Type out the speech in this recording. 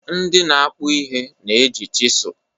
Ndị na-akpụ ihe na-eji chịsụ